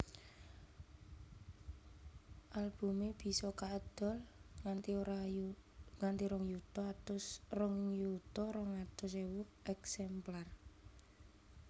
Albumé bisa kaedol nganti rong yuta rong atus ewu eksemplar